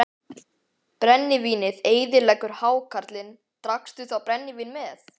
Brennivínið eyðileggur hákarlinn Drakkstu þá brennivín með?